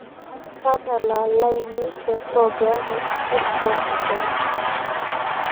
tadala lainei te programu e spotify